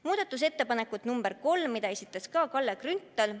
Muudatusettepaneku nr 3 esitas ka Kalle Grünthal.